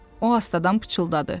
O astadan pıçıldadı.